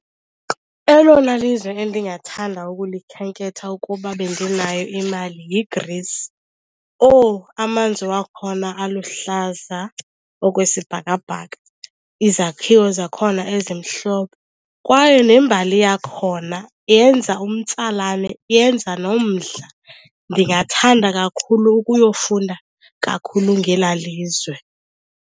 Elona lizwe endingathanda ukulikhenketha ukuba bendinayo imali yiGreece. Owu amanzi wakhona aluhlaza okwesibhakabhaka, izakhiwo zakhona ezimhlophe kwaye nembali yakhona yenza umtsalane, yenza nomdla. Ndingathanda kakhulu ukuyofunda kakhulu ngelaa lizwe.